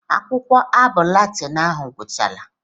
Akwụkwọ abụ Latin ahụ ọgwuchala?